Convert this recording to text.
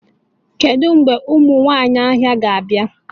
Kedu mgbe ụmụ nwanyị ahịa ga-abịa?